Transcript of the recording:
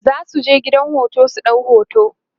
zasuje gidan hoto su ɗau hoto